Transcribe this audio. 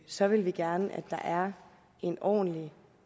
så vil vi gerne have der er en ordentlig